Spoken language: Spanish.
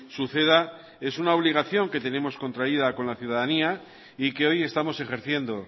suceda es una obligación que tenemos contraída con la ciudadanía y que hoy estamos ejerciendo